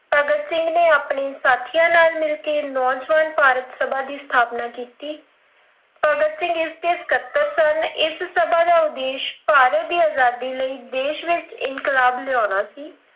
ਭਗਤ ਸਿੰਘ ਨੇ ਆਪਣੇ ਸਾਥੀਆਂ ਨਾਲ ਮਿਲ ਕਿ ਨੌਜਵਾਨ ਭਾਰਤ ਸਭਾ ਦੀ ਸਥਾਪਨਾ ਕੀਤੀ, ਭਗਤ ਸਿੰਘ ਇਸ ਦੇ ਸਕੱਤਰ ਸਨ ਇਸ ਸਭਾ ਦਾ ਉਦੇਸ਼ ਭਾਰਤ ਦੀ ਆਜ਼ਾਦੀ ਲਈ ਦੇਸ਼ ਵਿੱਚ ਇਨਕਲਾਬ ਲਿਆਉਣਾ ਸੀ